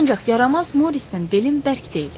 Ancaq yaramaz Morisdən belim bərk deyil.